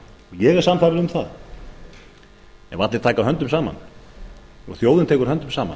ég er sannfærður um að ef allir taka höndum saman og þjóðin tekur höndum saman